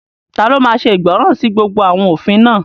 Taló máa ṣe ìgbọràn sí gbogbo àwọn òfin náà?